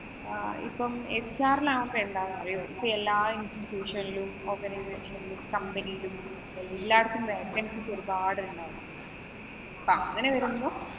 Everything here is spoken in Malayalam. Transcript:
ഇപ്പം HR ലാവുമ്പോ എന്താന്ന് അറിയുവോ? ഇപ്പം എല്ലാ institution ലും, organization ഇലും company ഇലും എല്ലാടത്തും vaccancies ഒരുപാടെണ്ണം ഉണ്ട്. അപ്പൊ അങ്ങനെ വരുമ്പം